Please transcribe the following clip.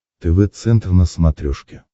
тв центр на смотрешке